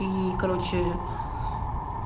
и короче